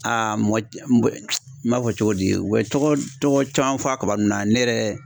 mɔgɔ ci mɔgɔ n b'a fɔ cogo di u bɛ tɔgɔ tɔgɔ caman fɔ a kaba ninnu na ne yɛrɛ